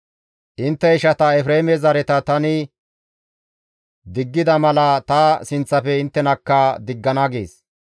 Intte ishata Efreeme zareta tani diggida mala ta sinththafe inttenakka diggana» gees.